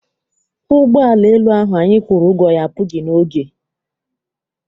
Ụgbọala elu ahụ anyị kwụrụ ụgwọ ya apụghị n'oge.